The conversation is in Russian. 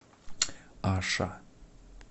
аша